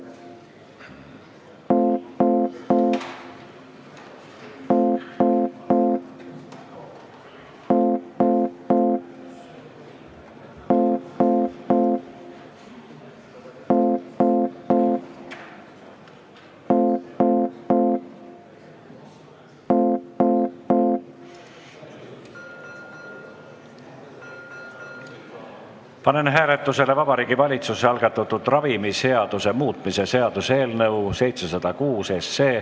Panen hääletusele Vabariigi Valitsuse algatatud ravimiseaduse muutmise seaduse eelnõu 706.